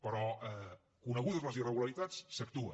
però conegudes les irregularitats s’actua